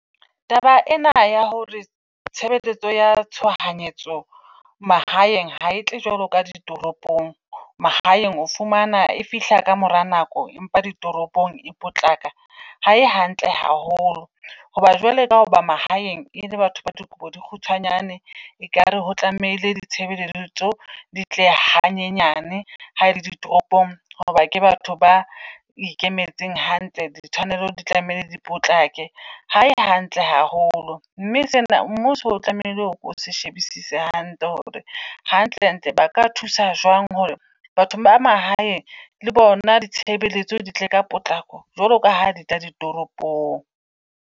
Taba ena ya hore tshebeletso ya tshohanyetso mahaeng ha etle jwalo ka ditoropong. Mahaeng o fumana e fihla ka mora nako, empa ditoropong e potlako. Ha e hantle haholo hoba jwale ka hoba mahaeng e le batho ba dikobo di kgutshwanyane. Ekare ho tlamehile di tshebeletso di tle ha nyenyane. Ha ele di ditoropong hoba ke batho ba ikemetseng hantle di tshwanelo di tlamehile di potlakele. Ha e hantle haholo. Mme sena mmuso o tlamehile o se shebisise hantle hore hantlentle ba ka thusa jwang hore batho ba mahaeng le bona di tshebeletso di tle ka potlako jwalo ka ha ditla di toropong.